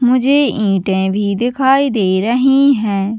मुझे ईंटें भी दिखाई दे रही है।